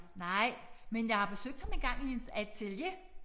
Nej men jeg har besøgt ham engang i hans atelier